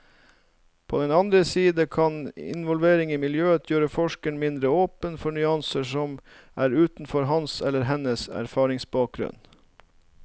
På den andre side kan involvering i miljøet gjøre forskeren mindre åpen for nyanser som er utenfor hans eller hennes erfaringsbakgrunn.